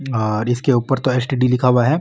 और इसके ऊपर एसटीडी लिखा हुआ है।